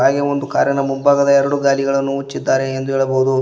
ಹಾಗೆ ಒಂದು ಕಾರಿನ ಮುಂಭಾಗದ ಎರಡು ಗಾಲಿಗಳನ್ನು ಹುಚ್ಚಿದ್ದಾರೆ ಎಂದು ಹೇಳಬಹುದು.